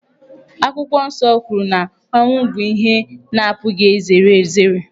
Akwụkwọ Nsọ kwuru na ọnwụ bụ ihe a na-apụghị izere ezere.